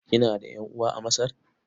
Kina da ƴan'uwa a Masar?